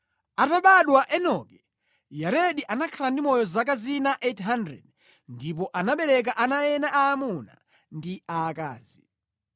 Atabadwa Enoki, Yaredi anakhala ndi moyo zaka zina 800 ndipo anabereka ana ena aamuna ndi aakazi.